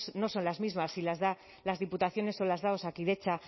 no son las mismas si las dan las diputaciones o las da osakidetza